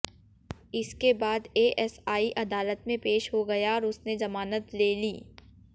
इसके बाद एएसआई अदालत में पेश हो गया और उसने जमानत ले ली